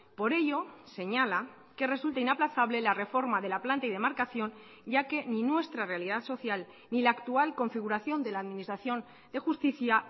por ello señala que resulta inaplazable la reforma de la planta y demarcación ya que ni nuestra realidad social ni la actual configuración de la administración de justicia